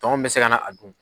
Mɔgɔ min bɛ se ka na a dun.